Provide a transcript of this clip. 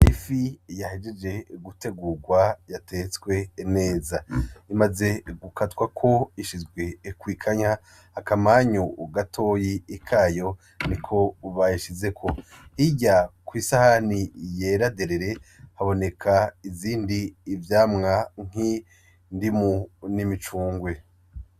Ifi yahejeje gutegurwa yatetswe neza, imaze gukatwako ishizwe kw'ikanya akamanyu gatoyi kayo niko bayishizeko, hirya kw'isahani yera derere haboneka ibindi vyamwa nk'indimu n'imicungwe.